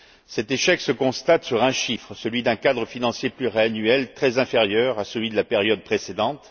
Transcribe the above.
Cet échec se constate sur un chiffre, celui d'un cadre financier pluriannuel très inférieur à celui de la période précédente.